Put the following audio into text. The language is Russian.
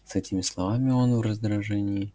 с этими словами он в раздражении